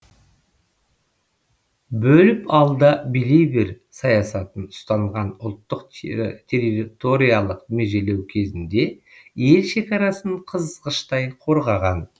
бөліп ал да билей бер саясатын ұстанған ұлттық территориялық межелеу кезінде ел шекарасын қызғыштай қорғаған